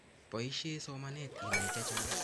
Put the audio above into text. Poishe somanet inai chechang